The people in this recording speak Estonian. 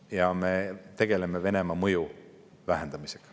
Ja me tegeleme Venemaa mõju vähendamisega.